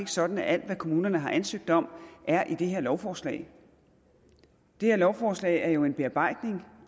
sådan at alt hvad kommunerne har ansøgt om er i det her lovforslag det her lovforslag er jo en bearbejdning